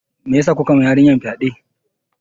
Meyasa kuka ma yarinyar fyaɗe?